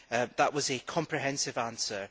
That was a comprehensive answer.